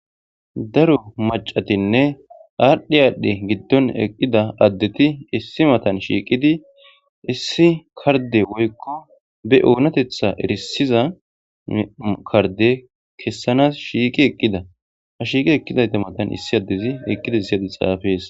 Daro macatinne aadhdhi aadhdhe giddon eqqida addeti issi matan shiiqidi issi karde woykko be oonatetha erisiza karde kessanas shiiqi eqqida ha shiiqi eqqidayta matan issi addezi eqqida isyadi xaafees.